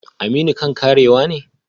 Aminu kan karewa ne?